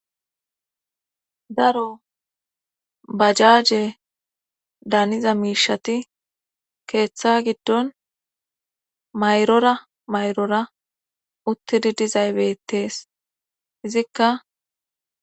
daro bajaaje daniza miishati keeththa giddon mayrora mayrora uttidi dizay bettees izikka